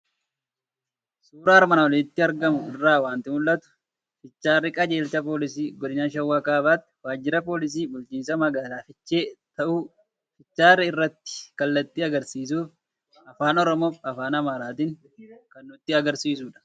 Suuraa armaan olitti argamu irraa waanti mul'atu; fiicharii Qajeelcha Poolisii Godina Shawa Kaabatti, Waajjirra Poolisii Bulchinsa Magaala Fiichee ta'uu fiicharii irratti kallattii agarsiisuuf afaan oromoofi afaan amaaratin kan nutti agarsiisudha